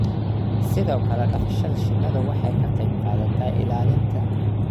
Sidoo kale, dhaqashada shinnidu waxay ka qayb qaadataa ilaalinta